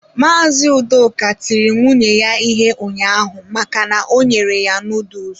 Mazị Udoka tiri nwunye ya ihe ụnyaahụ maka na o nyere ya noodles.